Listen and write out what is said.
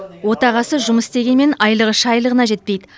отағасы жұмыс істегенімен айлығы шайлығына жетпейді